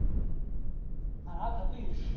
હા હા પતિ ગયું હતું